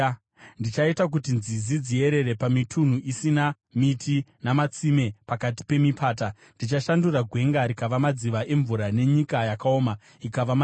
Ndichaita kuti nzizi dziyerere pamitunhu isina miti, namatsime pakati pemipata. Ndichashandura gwenga rikava madziva emvura, nenyika yakaoma ikava matsime.